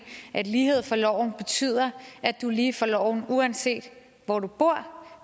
at lighed for loven betyder at du er lige for loven uanset hvor du bor